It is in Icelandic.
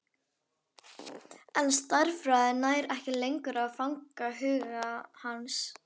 En stærðfræðin nær ekki lengur að fanga huga hans.